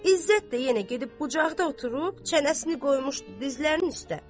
İzzət də yenə gedib bucaqda oturub çənəsini qoymuşdu dizlərinin üstə.